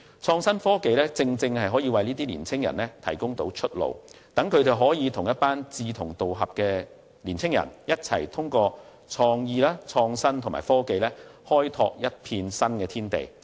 創新科技正好為這些年青人提供出路，讓他們可與一群志同道合的年青人，一起透過創意、創新和科技開拓一片新天地。